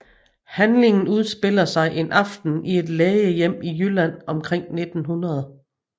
Handlingen udspiller sig en aften i et lægehjem i Jylland omkring 1900